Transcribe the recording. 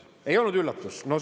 Ei olnud üllatus?